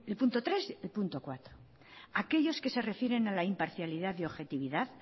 punto tres y punto cuatro aquellos que se refieren a la imparcialidad y objetividad